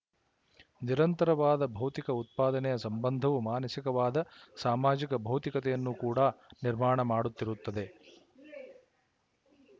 ನಿರಂತರವಾದ ಭೌತಿಕ ಉತ್ಪಾದನೆಯ ಸಂಬಂಧವು ಮಾನಸಿಕವಾದ ಸಾಮಾಜಿಕ ಭೌತಿಕತೆಯನ್ನು ಕೂಡಾ ನಿರ್ಮಾಣ ಮಾಡುತ್ತಿರುತ್ತದೆ